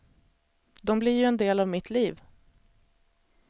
De blir ju en del av mitt liv.